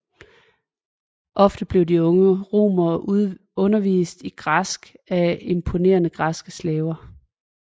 Ofte blev de unge romere undervist i græsk af importerede græske slaver